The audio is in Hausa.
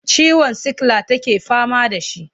Ciwon sikila take fama da shi.